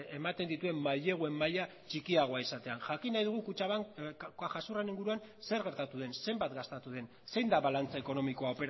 ematen dituen maileguen maila txikiagoa izatean jakin nahi dugu kutxabank cajasuren inguruan zer gertatu den zenbat gastatu den zein da balantze ekonomikoa